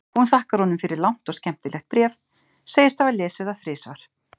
Hún þakkar honum fyrir langt og skemmtilegt bréf, segist hafa lesið það þrisvar.